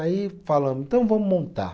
Aí falamos, então vamos montar.